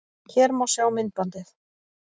Hér má sjá myndbandið